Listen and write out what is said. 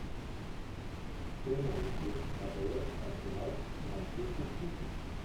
прямой эфир апл арсенал с манчестер сити